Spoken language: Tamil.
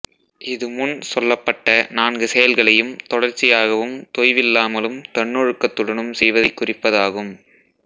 இது முன் சொல்லப்பட்ட நான்கு செயல்களையும் தொடர்ச்சியாகவும் தொய்வில்லாமலும் தன்னொழுக்கத்துடனும் செய்வதைக் குறிப்பதாகும்